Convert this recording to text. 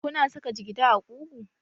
Kuna saka jigida a ƙugu?